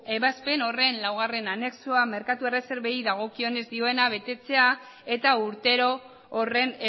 ebazpen horren laugarren anexoa merkatu erreserbei dagokionez dioena betetzea eta urtero horren